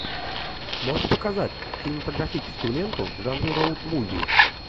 можешь показать кинематографическую ленту в жанре роуд муви